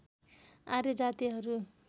आर्य जातिहरू